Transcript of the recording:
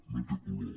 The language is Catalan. no té color